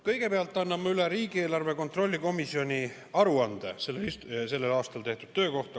Kõigepealt annan ma üle riigieelarve kontrolli erikomisjoni aruande sellel aastal tehtud töö kohta.